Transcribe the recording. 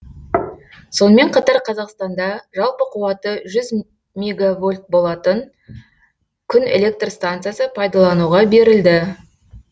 сонымен қатар қазақстанда жалпы қуаты жүз мегавольт болатын күн электр станциясы пайдалануға берілді